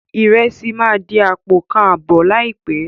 Ìrẹsì máa di àpò kan àbọ̀ láìpé.